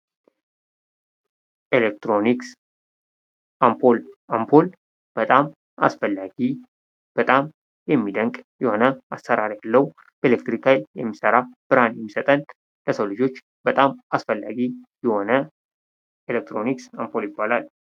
ኤሌክትሮኒክስ አምፖል: አምፖል በጣም አስፈላጊ በጣም የሚደንቅ የሆነ አሰራር ያለው በኤሌክትሪክ ኃይል የሚሰራ ብርሃን የሚሰጠን ለሰው ልጆች በጣም አስፈላጊ የሆነ ኤሌክትሮኒክስ አምፖል ይባላል::